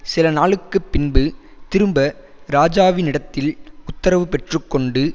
சில நாளுக்குப் பின்பு திரும்ப ராஜாவினிடத்தில் உத்தரவு பெற்று கொண்டு